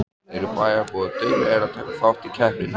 Eru bæjarbúar duglegir að taka þátt í keppninni?